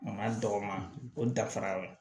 Ma dɔgɔ o dafara